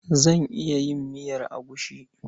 Zan iya yin miyar agushi.